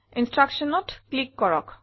Instructionsত click কৰক